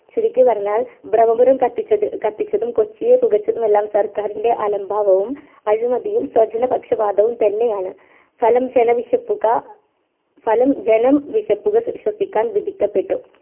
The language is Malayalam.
ചുരുക്കി പറഞ്ഞാൽ ബ്രഹ്മപുരം കത്തിച്ചതും കൊച്ചിയെ പുകച്ചതും എല്ലാം സർക്കാരിന്റെ ആലംബവും അഴിമതിയും ശോചനപക്ഷപാദവും തന്നെയാണ് ഫലം ജനം വിഷപ്പുക ശ്വസിക്കാൻ വിധിക്കപ്പെട്ടു